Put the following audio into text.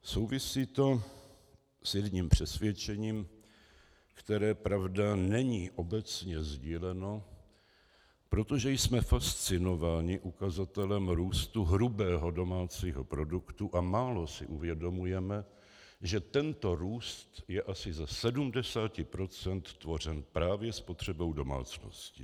Souvisí to s jedním přesvědčením, které, pravda, není obecně sdíleno, protože jsme fascinování ukazatelem růstu hrubého domácího produktu a málo si uvědomujeme, že tento růst je asi ze 70 % tvořen právě spotřebou domácností.